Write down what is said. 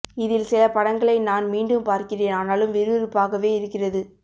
இதில் சில படங்களை நான் மீண்டும் பார்க்கிறேன் ஆனாலும் விறுவிறுப்பாகவே இருக்கிறது